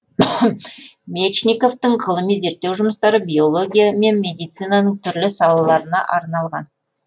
мечниковтің ғылыми зерттеу жұмыстары биология мен медицинаның түрлі салаларына арналған